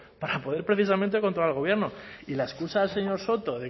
para poder precisamente controlar al gobierno y la excusa del señor soto